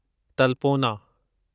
तलपोना